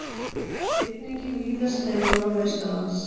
Rigning víðast nema norðaustanlands